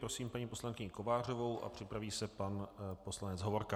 Prosím paní poslankyni Kovářovou a připraví se pan poslanec Hovorka.